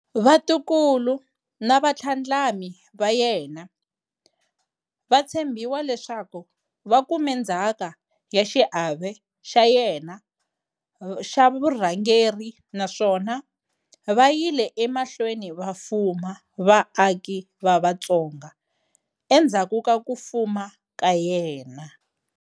Vatukulu na vatlhandlami va yena va tshembiwa leswaku va kume ndzhaka ya xiave xa yena xa vurhangeri naswona vayile emahlweni va fuma vaaki va Vatsonga endzhaku ka ku fuma ka yena.